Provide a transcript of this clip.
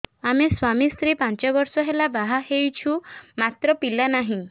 ଆମେ ସ୍ୱାମୀ ସ୍ତ୍ରୀ ପାଞ୍ଚ ବର୍ଷ ହେଲା ବାହା ହେଇଛୁ ମାତ୍ର ପିଲା ନାହିଁ